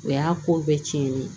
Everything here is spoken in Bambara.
O y'a ko bɛɛ cɛnnen ye